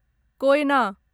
Koyna